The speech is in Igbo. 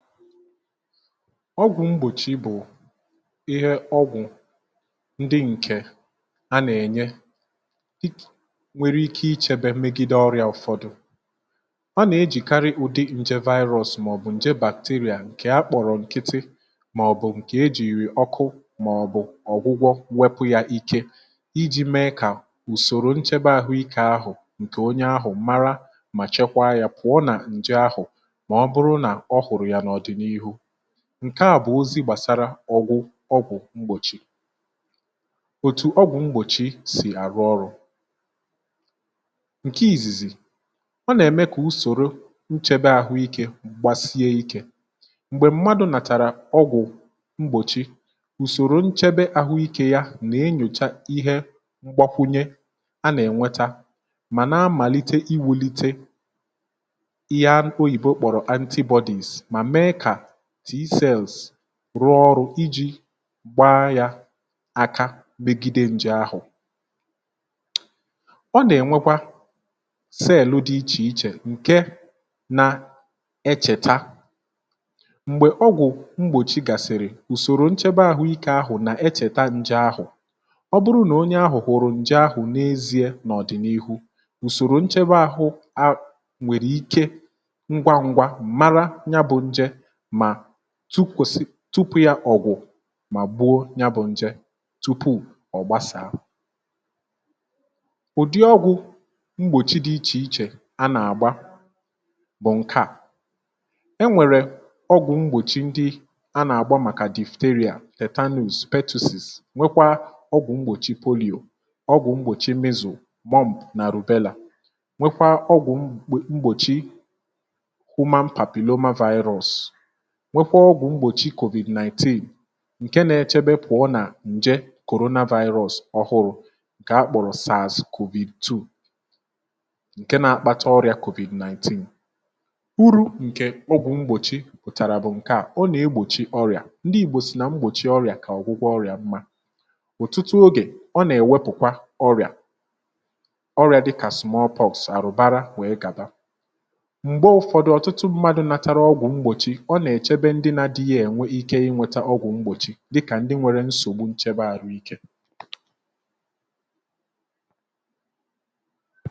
ọgwụ̀ mgbòchi bụ̀ ihe ọgwụ̀ ndị ǹkè a nà-ènye nwere ike ichėbė megide ọrịa ụ̀fọdụ, a nà-ejìkarị ụdị nje virus màọ̀bụ̀ ǹje bàkteria ǹkè akpọ̀rọ̀ ǹkịtị màọ̀bụ̀ ǹkè ejìri ọkụ màọ̀bụ̀ ọ̀gwụgwọ wepụ yȧ ike iji̇ mee kà ùsòrò nchebe ahụ̀ ike ahụ̀ ǹkè onye ahụ̀ mara mà chekwaa yȧ pụ̀ọ nà ǹje ahụ̀ ma oburu na ọ hụrụ ya n' ọdịnihu, ǹke à bụ̀ ozi gbàsara ọgwụ̀ ọgwụ̀ mgbòchi ,òtù ọgwụ̀ mgbòchi sì àrụ ọrụ̇ ǹke ìzìzì ọ nà-ème kà usòro nchebe àhụikė gbasie ikė m̀gbè mmadụ̀ nàtàrà ọgwụ̀ mgbòchi ùsòrò nchebe àhụikė ya nà-enyòcha ihe mgbakwunye a nà-ènweta mà na-amàlite iwulite ya oyibo kpọrọ anti bodies ma mee ka t cells rụọ ọrụ̇ iji̇ gbaa yȧ akabigide nje ahụ̀, ọ nà-ènwekwa cèèlụ dị ichè ichè ǹke nà ẹchẹtẹ m̀gbè ọgwụ̀ mgbòchi gàsị̀rị̀ ùsòrò nchẹbẹ ȧhụ̇ ike ahụ̀ nà ẹchẹtẹ nje ahụ̀ ọ bụrụ nà onye ahụ̀ hụrụ njẹ ahụ̀ n’eziė n’ọ̀dị̀nihu ùsòrò nchẹbẹ ȧhụ̇ a nwèrè ike ngwa ngwa màra ya bu nje tupu ya ọ̀gwụ̀ mà gbùo ya bụ̇ nje tupu ọ̀ gbasàà, ụ̀dị ọgwụ̇ mgbòchi dị ichè ichè a nà-àgba bụ̀ ǹkẹ̀ à, e nwèrè ọgwụ̀ mgbòchi ndị a nà-àgba màkà dufuteria ,tetanus, peptosis nwekwa ọgwụ̀ mgbòchi poliọ̀, ọgwụ̀ mgbòchi mizụ̀, worm nà rùbelà, nwekwa ọgwụ̀ mgbòchi human papilloma virus, ma nwekwaa ọgwụ̀ mgbòchi kọ̀vì̀d 19 ǹke nȧ-ėchebe pụ̀ọ nà ǹje korona viris ọhụrụ ǹkè akpọ̀rọ̀ saazì kòvìd 2 ǹke nȧ-akpata ọrịà kọ̀vì̀ 19 ,uru ǹkè ọgwụ̀ mgbòchi pụ̀tàrà bụ̀ ǹke à ọ nà-egbòchi ọrịà ndị ìgbò sì nà mgbòchi ọrịà kà ọ̀gwụgwọ ọrịà mma ọ̀tụtụ ogè ọ nà-èwepùkwa ọrịà ,ọrịà dịkà small pox, àrụ̀bara wèe gàba, m̀gbe ụ̇fọ̇dụ̇ ọ̀tụtụ mmadụ̇ natara ọgwụ̇ mgbòchi ọ na echebe ndị na adịghị enwe ike inweta ọgwụ̀ mgbòchi dịkà ndị nwere nsògbu nchebe ahu ike